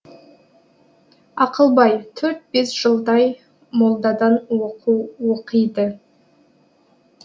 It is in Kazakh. ақылбай төрт бес жылдай молдадан оқу оқиды